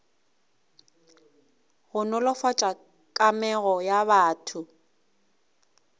go nolofatša kamego ya batho